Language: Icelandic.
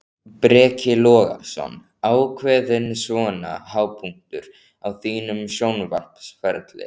Breki Logason: Ákveðinn svona hápunktur á þínum sjónvarpsferli?